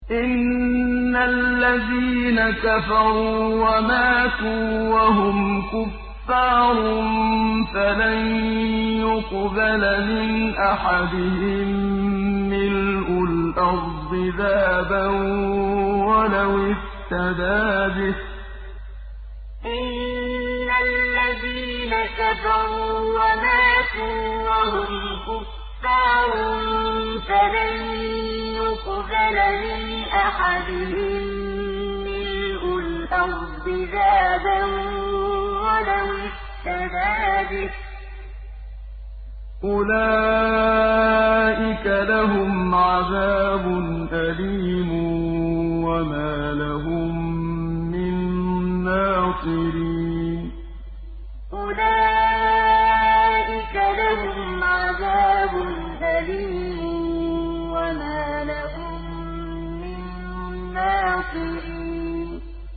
إِنَّ الَّذِينَ كَفَرُوا وَمَاتُوا وَهُمْ كُفَّارٌ فَلَن يُقْبَلَ مِنْ أَحَدِهِم مِّلْءُ الْأَرْضِ ذَهَبًا وَلَوِ افْتَدَىٰ بِهِ ۗ أُولَٰئِكَ لَهُمْ عَذَابٌ أَلِيمٌ وَمَا لَهُم مِّن نَّاصِرِينَ إِنَّ الَّذِينَ كَفَرُوا وَمَاتُوا وَهُمْ كُفَّارٌ فَلَن يُقْبَلَ مِنْ أَحَدِهِم مِّلْءُ الْأَرْضِ ذَهَبًا وَلَوِ افْتَدَىٰ بِهِ ۗ أُولَٰئِكَ لَهُمْ عَذَابٌ أَلِيمٌ وَمَا لَهُم مِّن نَّاصِرِينَ